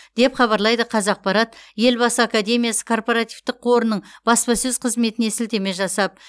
деп хабарлайды қазақпарат елбасы академиясы корпоративтік қорының баспасөз қызметіне сілтеме жасап